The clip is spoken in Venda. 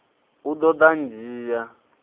u ḓo ḓa a ndzhia